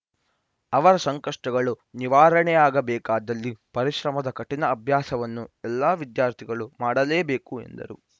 ಅವರ ಸಂಕಷ್ಟಗಳು ನಿವಾರಣೆಯಾಗಬೇಕಾದಲ್ಲಿ ಪರಿಶ್ರಮದ ಕಠಿಣ ಅಭ್ಯಾಸವನ್ನು ಎಲ್ಲ ವಿದ್ಯಾರ್ಥಿಗಳು ಮಾಡಲೇಬೇಕು ಎಂದರು